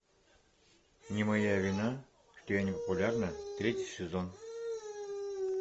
не моя вина что я не популярна третий сезон